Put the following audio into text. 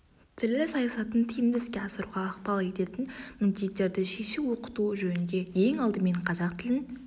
тілі саясатын тиімді іске асыруға ықпал ететін міндеттерді шешу оқыту жөнінде ең алдымен қазақ тілін